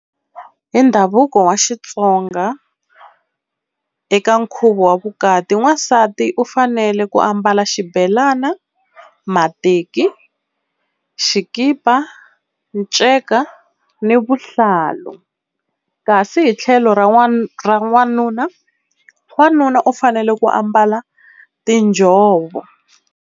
Hi ndhavuko wa Xitsonga eka nkhuvo wa vukati n'wansati u fanele ku ambala xibelana, mateki, xikipa, nceka ni vuhlalu. Kasi hi tlhelo ra ra n'wanuna wanuna u fanele ku ambala tinjhovo.